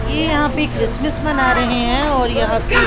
ये यहां पे क्रिसमस मना रहे हैं और यहां पे--